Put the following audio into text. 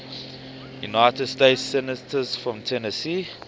united states senators from tennessee